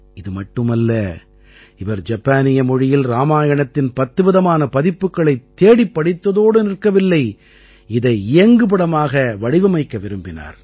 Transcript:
இது மட்டுமல்ல அவர் ஜப்பானிய மொழியில் இராமாயணத்தின் 10 விதமான பதிப்புகளைத் தேடிப் படித்ததோடு நிற்கவில்லை இதை இயங்குபடமாக வடிவமைக்க விரும்பினார்